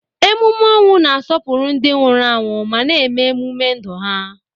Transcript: Emume ọnwụ na-asọpụrụ ndị nwụrụ anwụ ma na-eme ememe ndụ ha.